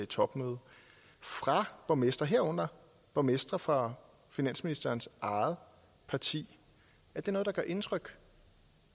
topmøde fra borgmestre herunder borgmestre fra finansministerens eget parti indtryk